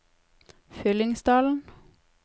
Fyllingsdalen